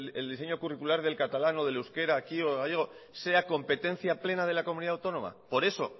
el diseño curricular del catalán o del euskera aquí o el gallego sea competencia plena de la comunidad autónoma por eso